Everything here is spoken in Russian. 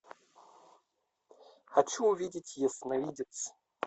хочу увидеть ясновидец